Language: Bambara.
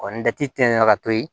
ni dɛti te yen nɔ ka to yen